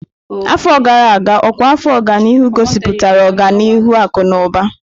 Afọ gara aga, ịọkwa afọ ọganihu gosipụtara ọganihu akụ na ụba.